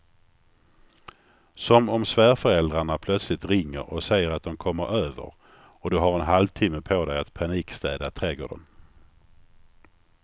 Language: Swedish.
Som om svärföräldrarna plötsligt ringer och säger att de kommer över och du har en halvtimme på dig att panikstäda trädgården.